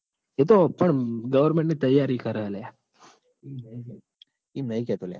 એતો પણ government ની તૈયારી કર લ્યા.